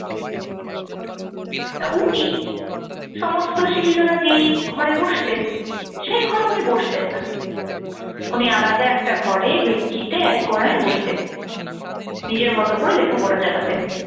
তা উনি সমস্ত শিক্ষিকারা যেই ঘরে বসতেন সেই ঘরে উনি বসতেন না উনি আলাদা একটা ঘরে বেঞ্চিতে এক কোনায় বসতেন। নিজের মত করে লেখাপড়া চালাতেন।